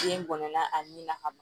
Den gɔnɔ ani na ka ban